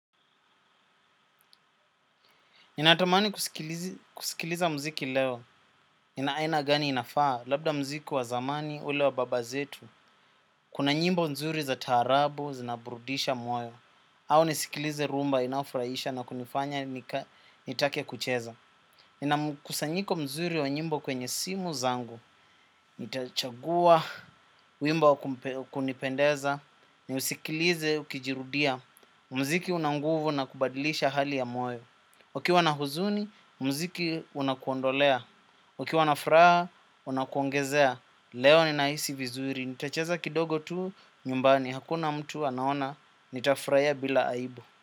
Ninatamani kusikiliza muziki leo, ina aina gani inafaa, labda muziki wa zamani, ule wa baba zetu. Kuna nyimbo nzuri za taarabu, zinabrudisha moyo, au nisikilize rhumba inayofraisha na kunifanya nitake kucheza. Ina mkusanyiko mzuri wa nyimbo kwenye simu zangu, nitachagua, wimbo kunipendeza, niusikilize, ukijirudia, mziki una nguvu na kubadilisha hali ya moyo. Ukiwa na huzuni, mziki unakuondolea. Ukiwa na furaha, unakuongezea. Leo ninahisi vizuri. Nitacheza kidogo tu, nyumbani. Hakuna mtu anaona, nitafuraia bila aibu.